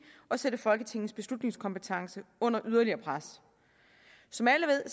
og sætte folketingets beslutningskompetence under yderligere pres som alle ved